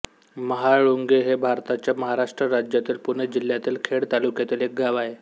महाळुंगे हे भारताच्या महाराष्ट्र राज्यातील पुणे जिल्ह्यातील खेड तालुक्यातील एक गाव आहे